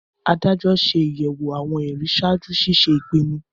Adájọ́ ṣe ayẹwo awọn ẹri ṣaaju ṣiṣe ipinnu